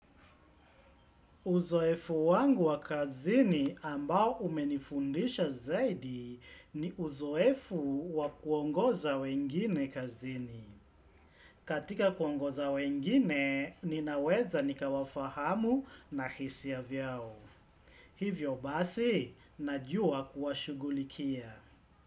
Uzoefu wangu wa kazini ambao umenifundisha zaidi ni uzoefu wa kuongoza wengine kazini. Katika kuongoza wengine, ninaweza nikawafahamu na hisia vyao. Hivyo basi, najua kuwashugulikia.